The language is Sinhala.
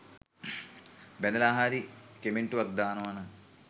බැනලා හරි කමෙන්ටුවක් දානවනම්